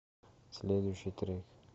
следующий трек